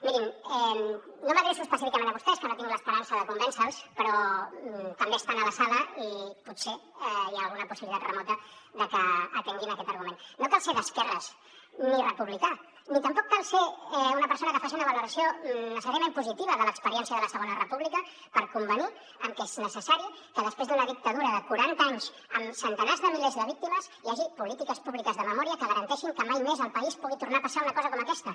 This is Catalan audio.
mirin no m’adreço específicament a vostès que no tinc l’esperança de convèncer los però també estan a la sala i potser hi ha alguna possibilitat remota de que atenguin aquest argument no cal ser d’esquerres ni republicà ni tampoc cal ser una persona que faci una valoració necessàriament positiva de l’experiència de la segona república per convenir que és necessari que després d’una dictadura de quaranta anys amb centenars de milers de víctimes hi hagi polítiques públiques de memòria que garanteixin que mai més al país pugui tornar a passar una cosa com aquesta